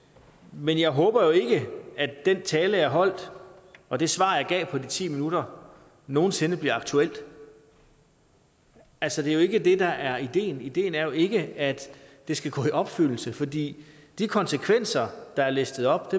men jeg håber jo ikke at den tale jeg holdt og de svar jeg efter de ti minutter nogensinde bliver aktuelle altså det er ikke det der er ideen ideen er jo ikke at det skal gå i opfyldelse for de konsekvenser der er listet op